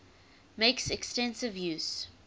makes extensive use